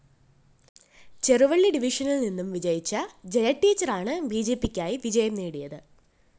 ചെറുവള്ളി ഡിവിഷനില്‍ നിന്നും വിജയിച്ച ജയടീച്ചറാണ് ബിജെപിക്കായി വിജയം നേടിയത്